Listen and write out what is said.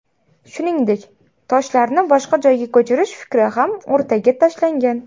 Shuningdek, toshlarni boshqa joyga ko‘chirish fikri ham o‘rtaga tashlangan.